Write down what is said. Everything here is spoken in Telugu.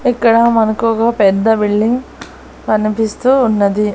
ఇక్కడ మనకు ఒక పెద్ద బిల్డింగ్ కనిపిస్తూ ఉన్నది.